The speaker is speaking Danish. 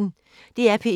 DR P1